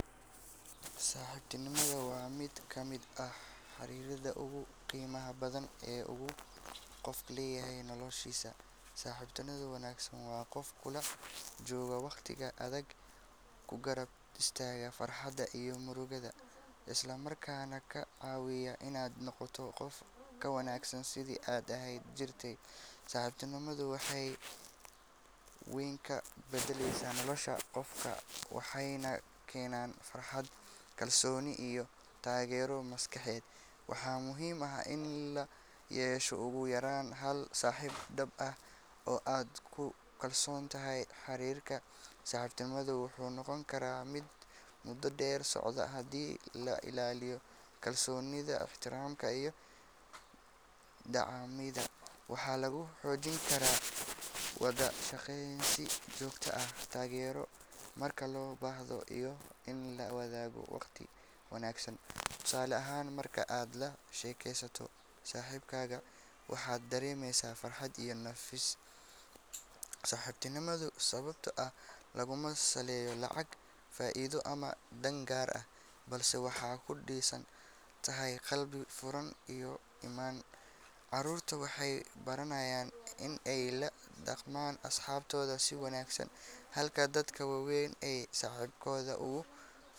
Saxibtinimaada waaa miid kamiid ah xariraada ugu qimaha badan qof leyahay noloshisa saxibtinimaada wanagsan waa qof kula jogo waqtiga adhag ku garab istaga farxaada iyo murugaada isla markana kacawiya in aa noqoto sitha aa ahan jirte, saxibtinimaadu waxee wax weyn ka badaleysa nolosha waxena kenan farxaad kalsoni iyo tagero maskaxded, waxaa muhiim ah in ugu yaran hal layesho hal saxib dab ah oo aad ku kalsontahay xarirka saxibtinimadu wuxuu noqon karaa miid muda der socda hadi la ilaliyo kalsonida ixtiramka iyo dacamida waxaa lagu xojin karaa wada shaqeyn si jogto ah tagero marki lo bahdo iyo in lawadhago waqti wanagsan tusale ahan marki aa lashekesato saxibkaga waxaa daremesa farxaad iyo nafis, saxibtinimaada sawabto ah masaleyo lacag faidho dan gar ah balse waxee kudisantahay qalbi furan, carurtu waxee baranayan si ee ola daqman asxabtodha si wanagsan halka dadka wawen saxibkodha ee.